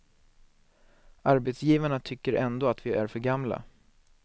Arbetsgivarna tycker ändå att vi är för gamla.